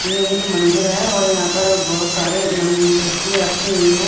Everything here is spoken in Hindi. ये एक मंदिर हैऔर यहाँ पर बहुत सारे मूर्तियां रखी हुई हैं।